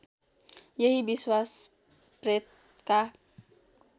यही विश्वास प्रेतका